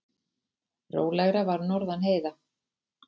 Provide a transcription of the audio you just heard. Rólegra var norðan heiða.